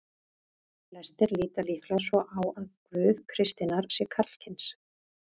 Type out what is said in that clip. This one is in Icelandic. Flestir líta líklega svo á að Guð kristninnar sé karlkyns.